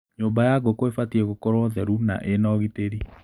Nyũmba ya ngũkũ ĩbatie gũkorwo theru na ina ũgitĩri.